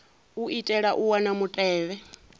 u itela u wana mutevhe